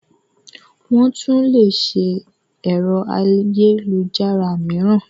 Wọ́n tún lé ṣe ẹ̀rọ ayélujára mííràn.